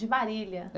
De Marília. É